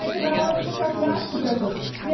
Der Regionalausschuss hat nachgebessert.